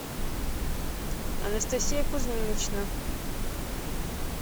анастасия кузьминична